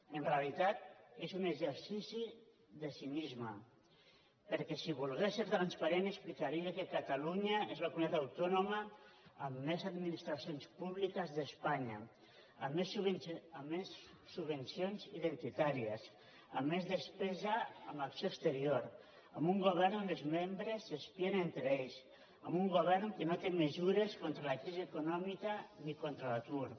en realitat és un exercici de cinisme perquè si volgués ser transparent explicaria que catalunya és la comunitat autònoma amb més administracions públiques d’espanya amb més subvencions identitàries amb més despesa en acció exterior amb un govern on els membres s’espien entre ells amb un govern que no té mesures contra la crisi econòmica ni contra l’atur